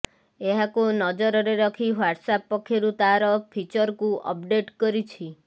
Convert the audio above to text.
ଏହାକୁ ନଜରରେ ରଖି ହ୍ୱାଟ୍ସଆପ୍ ପକ୍ଷରୁ ତାର ଫିଚରକୁ ଅପଡେଟ୍ କରିଛି